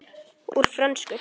Úr frönsku